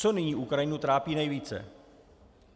Co nyní Ukrajinu trápí nejvíce?